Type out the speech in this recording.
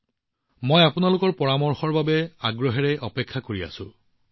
মই আগ্ৰহেৰে আপোনালোকৰ এনে পৰামৰ্শৰ বাবে অপেক্ষা কৰি আছোঁ